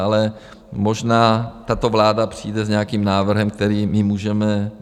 Ale možná tato vláda přijde s nějakým návrhem, který my můžeme...